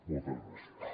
moltes gràcies